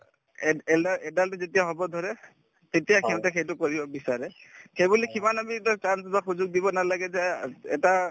add alda adult যেতিয়া হব ধৰে তেতিয়া সিহঁতে সেইটো কৰিব বিচাৰে সেইবুলি কিমান আমি )‌) সুযোগ দিব নালাগে যে এটা